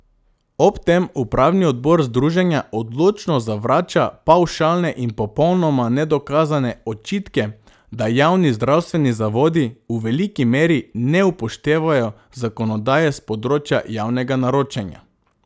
Ob tem upravni odbor združenja odločno zavrača pavšalne in popolnoma nedokazane očitke, da javni zdravstveni zavodi v veliki meri ne upoštevajo zakonodaje s področja javnega naročanja.